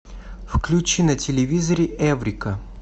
включи на телевизоре эврика